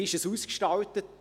Wie ist es ausgestaltet?